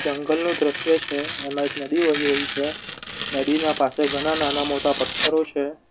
જંગલનું દ્રશ્ય છે એમાં એક નદી વહી રહી છે નદીના પાસે ઘણા નાના મોટા પથ્થરો છે.